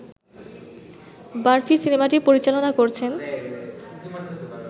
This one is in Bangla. বারফি সিনেমাটি পরিচালনা করছেন